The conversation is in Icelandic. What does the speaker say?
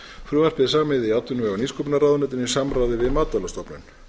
frumvarpið er samið í atvinnuvega og nýsköpunarráðuneytinu í samráði við matvælastofnun